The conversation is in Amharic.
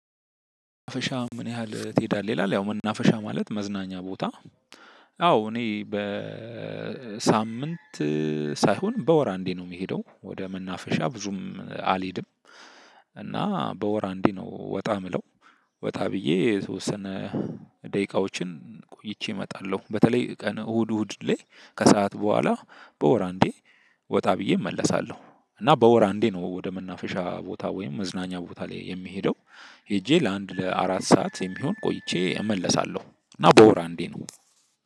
መናፈሻ ምን ያህል ትሄዳለህ? ይላል ያው መናፈሻ ማለት መዝናኛ ቦታ። አው እኔ በ ሳምንት ሳይሆን በወር አንዴ ነው የምሄደው ወደ መናፈሻ ብዙም አልሄድም። እና በወር አንዴ ነው ወጣ የምለው ወጣ ብዬ የተወሰነ ደቂቃዎችን ቆይቼ እመጣለሁ። በተለይ ቀን እሁድ እሁድ ላይ ከሰአት በኋላ በወር አንዴ ወጣ ብዬ እመለሳለሁ። እና በወር አንዴ ነው ወደ መናፈሻ ቦታ ወይም መዝናኛ ቦታ ላይ የምሄደው። ሄጄ ለአንድ ለአራት ሰዓት የሚሆን ቆይቼ እመለሳለሁ እና በወር አንዴ ነው